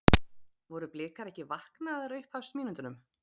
Voru Blikar ekki vaknaðir á upphafsmínútunum?